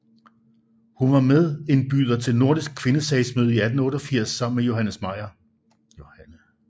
Hun var medindbyder til Nordiske Kvindesagsmøde 1888 sammen med Johanne Meyer